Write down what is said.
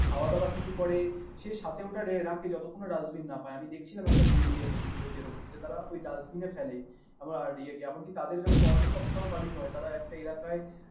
খাওয়া দাওয়া কিছু করে সে সাথে ওটা রাখে যতক্ষণ না dustbin না পায়, আমি দেখছিলাম একটা video তে এরকম যে তারা ওই dustbin এ ফেলে এমনকি তাদের এরকম অন্নসপ্তাহ ও পালিত হয় তারা একটা এলাকায়